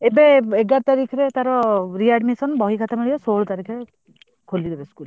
ଏବେ ଏଗାର ତାରିଖ ତାର readmission ବହିମିଳିବ ଷୋହଳ ତାରିଖରେ ଖୋଲିବ school।